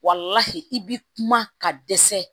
i bi kuma ka dɛsɛ